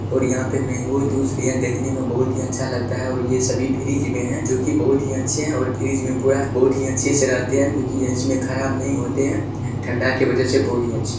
और यहां पे मैंगो जूस भी है देखने में बहुत ही अच्छा लगता है और यह सभी फ्रीज में है जो की बहुत ही अच्छे और फ्रीज में बहुत ही अच्छे से रहते हैं क्योंकि ये इसमे खराब नही होते हैं ठंडा के वजह से बहुत ही अच्छे--